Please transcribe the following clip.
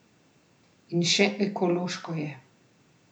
In še ekološko je!